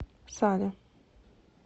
сале